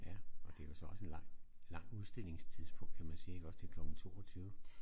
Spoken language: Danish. Ja og det jo så også en lang lang udstillingstidspunkt kan man sige ik også til klokken 22